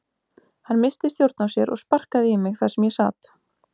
Hann missti stjórn á sér og sparkaði í mig þar sem ég sat.